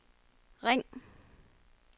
ring